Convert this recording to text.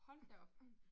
Hold da op